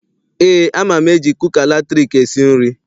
Eé, ama m eji kuka latriki esi nri.